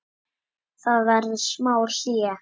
Það verður smá hlé.